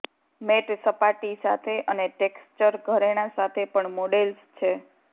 mat સપાટી સાથે અને ટેક્ષ્ચર ઘરેણાં સાથે પણ મોડેલ્સ છે